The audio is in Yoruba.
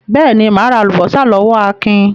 Beeni, ma ra alubosa lowo Akin